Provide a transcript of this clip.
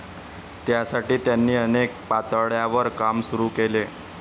त्यासाठी त्यांनी अनेक पातळ्यांवर काम सुरू केले.